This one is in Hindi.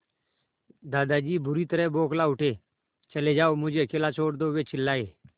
दादाजी बुरी तरह बौखला उठे चले जाओ मुझे अकेला छोड़ दो वे चिल्लाए